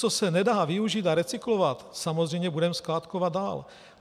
Co se nedá využít a recyklovat, samozřejmě budeme skládkovat dál.